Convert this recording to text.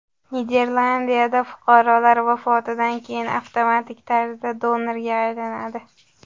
Niderlandiyada fuqarolar vafotidan keyin avtomatik tarzda donorga aylanadi.